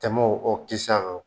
Tɛmɛ o ko kisa kan.